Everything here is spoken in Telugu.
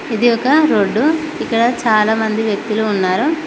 ఇది ఒక రోడ్డు ఇక్కడ చాలామంది వ్యక్తులు ఉన్నారు.